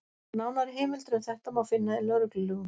Nánari heimildir um þetta má finna í lögreglulögum.